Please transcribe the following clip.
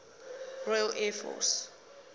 royal air force